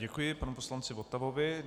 Děkuji panu poslanci Votavovi.